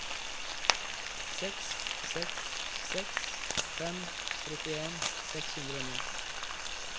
seks seks seks fem trettien seks hundre og ni